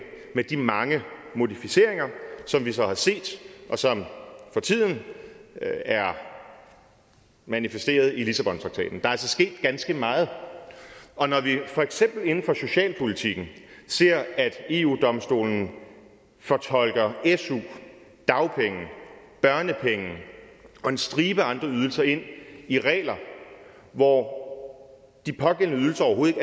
med de mange modificeringer som vi så har set og som for tiden er manifesteret i lissabontraktaten der er altså sket ganske meget og når vi for eksempel inden for socialpolitikken ser at eu domstolen fortolker su dagpenge børnepenge og en stribe andre ydelser ind i regler hvor de pågældende ydelser overhovedet